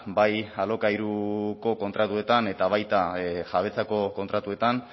bai alokairuko kontratuetan eta baita jabetzako kontratuetan